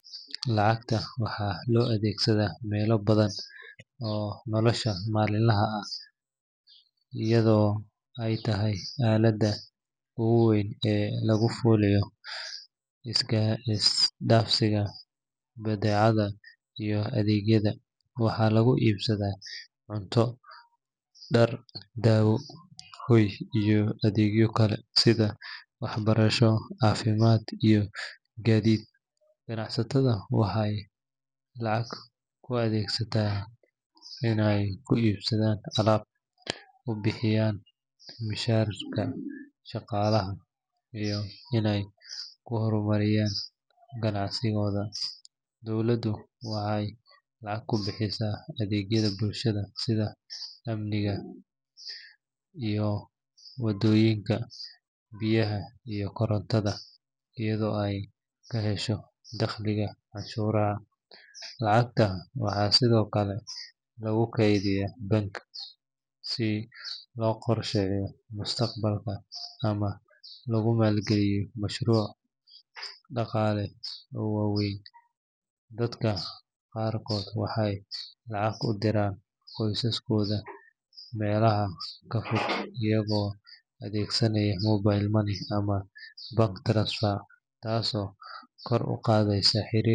Lacagta waxaa loo adeegsadaa meelo badan oo nolosha maalinlaha ah ah iyadoo ay tahay aaladda ugu weyn ee lagu fuliyo isdhaafsiga badeecadaha iyo adeegyada. Waxaa lagu iibsadaa cunto, dhar, daawo, hoy, iyo adeegyo kale sida waxbarasho, caafimaad, iyo gaadiid. Ganacsatada waxay lacagta u adeegsadaan inay ku iibsadaan alaab, u bixiyaan mushaharka shaqaalaha, iyo inay ku horumariyaan ganacsigooda. Dowladdu waxay lacag ku bixisaa adeegyada bulshada sida amniga, wadooyinka, biyaha, iyo korontada iyadoo ay ka hesho dakhliga canshuuraha. Lacagta waxaa sidoo kale lagu kaydiyaa bank si loo qorsheeyo mustaqbalka ama loogu maalgeliyo mashaariic dhaqaale oo waaweyn. Dadka qaarkood waxay lacag u diraan qoysaskooda meelaha ka fog iyagoo adeegsanaya mobile money ama bank transfer, taasoo kor u qaadaysa xiriir.